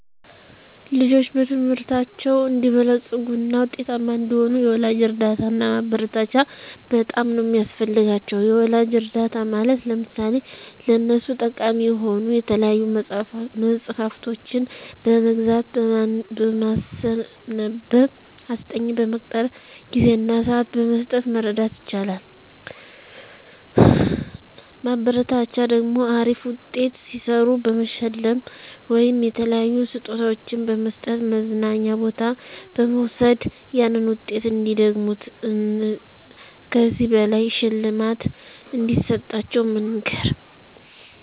ልጆች በትምህርታቸው አንዲበለጽጉ እና ውጤታማ እንዲሆኑ የወላጅ እርዳታ እና ማበረታቻ በጣም ነው ሚያስፈልጋቸው። የወላጅ እርዳታ ማለት ለምሳሌ ለነሱ ጠቃሚ የሆኑ የተለያዩ መፅሐፍቶችን በመግዛት፣ በማስነበብ፣ አስጠኝ በመቅጠር፣ ጊዜ እና ስዓት በመስጠት መርዳት ይቻላል። ማበረታቻ ደግሞ አሪፍ ውጤት ሲሰሩ በመሸለም ወይም የተለያዩ ስጦታዎችን በመስጠት፣ መዝናኛ ቦታ በመውሰድ ያንን ውጤት እንዲደግሙት እን ከዚህ በላይ ሽልማት እንደሚሰጣቸው መንገር